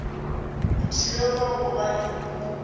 o thibelwa go ba le